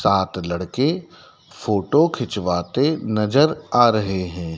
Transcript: सात लड़के फोटो खिंचवाते नजर आ रहे हैं।